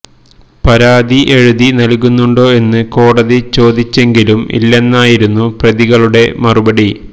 പരാതി എഴുതി നല്കുന്നുണ്ടോ എന്ന് കോടതി ചോദിച്ചെങ്കിലും ഇല്ലെന്നായിരുന്നു പ്രതികളുടെ മറുപടി